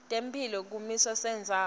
tetemphilo kusimo sendzawo